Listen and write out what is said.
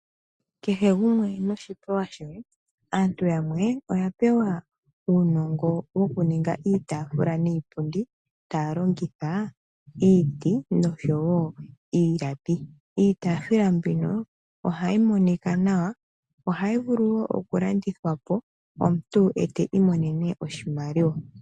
Kehe gumwe noshipewa shoye. Aantu yamwe oya pewa uunongo wokuninga iitaafula niipundi taya longitha iiti nosho wo iilapi. Itaafula mbino ohayi monika nawa, ohayi vulu wo okulandithwa po, omuntu ta imonene mo oshimaliwa.